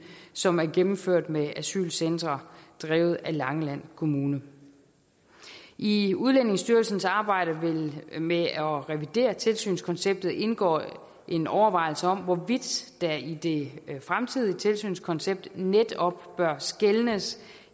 som er gennemført med asylcentre drevet af langeland kommune i udlændingestyrelsens arbejde med at revidere tilsynskonceptet indgår en overvejelse om hvorvidt der i det fremtidige tilsynskoncept netop bør skelnes